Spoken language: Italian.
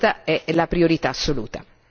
Questa è la priorità assoluta.